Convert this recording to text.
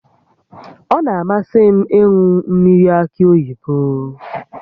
Ọ na-amasị m ịṅụ mmiri akị oyibo